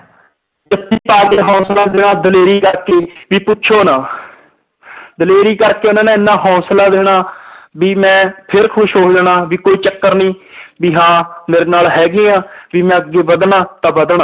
ਜੱਫ਼ੀ ਪਾ ਕੇ ਹੌਸਲਾ ਦੇਣਾ ਦਲੇਰੀ ਕਰਕੇ ਵੀ ਪੁੱਛੋ ਨਾ ਦਲੇਰੀ ਕਰਕੇ ਉਹਨਾਂ ਨੇ ਇੰਨਾ ਹੌਸਲਾ ਦੇਣਾ ਵੀ ਮੈਂ ਫਿਰ ਖ਼ੁਸ਼ ਹੋ ਜਾਣਾ ਵੀ ਕੋਈ ਚੱਕਰ ਨੀ ਵੀ ਹਾਂ ਮੇਰੇ ਨਾਲ ਹੈਗੇ ਆ ਵੀ ਮੈਂ ਅੱਗੇ ਵੱਧਣਾ ਤਾਂ ਵੱਧਣਾ।